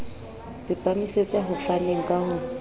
tsepamisetsa ho faneng ka ho